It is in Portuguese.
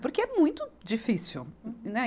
Porque é muito difícil, né?